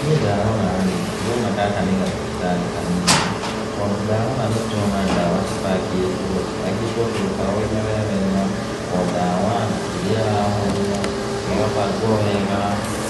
Niĩ ndarora rĩ, ndĩrona gaka nĩ gathibitarĩ kanini, tondũ ndarora nĩ ndĩrona ndawa cibangĩtwo, cibangĩtwo tũrũbao-inĩ we wega, o ndawa na kĩrĩa ĩrahonia, ĩgabangwo wega,